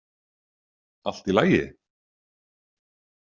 Allt í lagi?